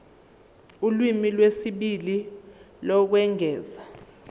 ulimi lwesibili lokwengeza